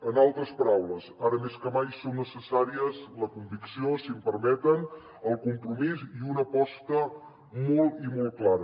en altres paraules ara més que mai són necessàries la convicció si em permeten el compromís i una aposta molt i molt clara